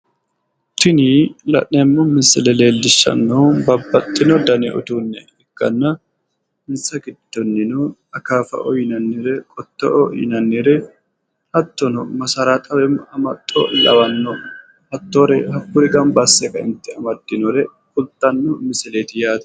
Tini la'neemmo misile leellishshannohu babbaxxino dani uduunne ikkanna insa giddonnino akaafaoo yinannire, qottooo yinannire hattono masarxaoo woyim amaxxo lawanno hattoore hakkuri gamba asse kaeentinni amaddinore kultanno misileeti yaate.